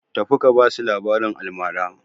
Tafi ka ba su labaran almara!